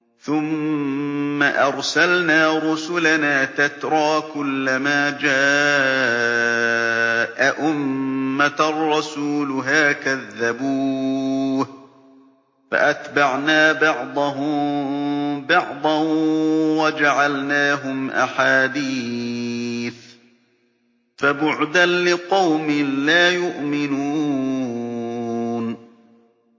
ثُمَّ أَرْسَلْنَا رُسُلَنَا تَتْرَىٰ ۖ كُلَّ مَا جَاءَ أُمَّةً رَّسُولُهَا كَذَّبُوهُ ۚ فَأَتْبَعْنَا بَعْضَهُم بَعْضًا وَجَعَلْنَاهُمْ أَحَادِيثَ ۚ فَبُعْدًا لِّقَوْمٍ لَّا يُؤْمِنُونَ